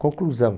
Conclusão.